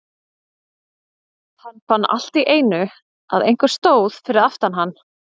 Hann fann allt í einu að einhver stóð fyrir aftan hann.